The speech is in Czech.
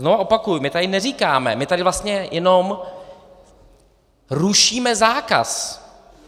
Znova opakuji, my tady neříkáme, my tady vlastně jenom rušíme zákaz.